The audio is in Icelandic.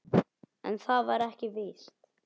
En það var ekki víst.